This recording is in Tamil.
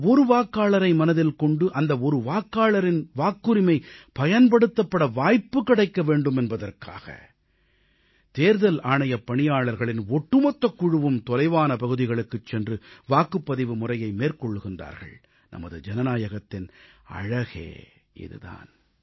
அந்த ஒரு வாக்காளரை மனதில் கொண்டு அந்த ஒரு வாக்காளரின் வாக்குரிமை பயன்படுத்தப்பட வாய்ப்பு கிடைக்க வேண்டும் என்பதற்காக தேர்தல் ஆணையப் பணியாளர்களின் ஒட்டுமொத்தக் குழுவும் தொலைவான பகுதிகளுக்குச் சென்று வாக்குப்பதிவு முறையை மேற்கொள்கிறார்கள் நமது ஜனநாயகத்தின் அழகே இது தான்